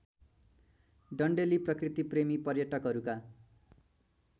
डन्डेलि प्रकृतिप्रेमी पर्यटकहरूका